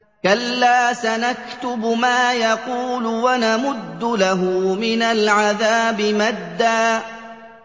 كَلَّا ۚ سَنَكْتُبُ مَا يَقُولُ وَنَمُدُّ لَهُ مِنَ الْعَذَابِ مَدًّا